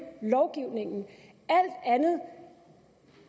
lovgivningen alt andet